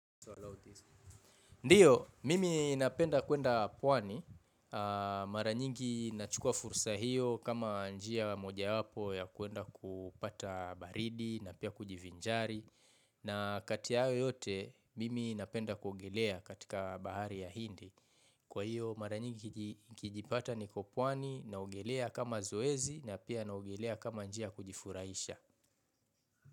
Ndiyo, mimi napenda kuenda pwani. Maranyingi nachukua fursa hiyo kama njia moja wapo ya kuenda kupata baridi na pia kujivinjari. Na katia haya yote, mimi napenda kuogelea katika bahari ya hindi. Kwa hiyo, maranyingi kijipata niko puwani na ogelea kama zoezi na pia na ogelea kama njia kujifuraisha.